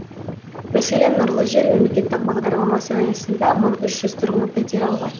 мәселен нұрлы жер мемлекеттік бағдарламасы аясында мың үш жүз тұрғын пәтер алған